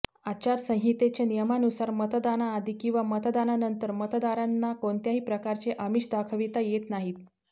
आचारसंहितेच्या नियमानुसार मतदानाआधी किंवा मतदानानंतर मतदारांना काेणत्याही प्रकारचे आमिष दाखविता येत नाही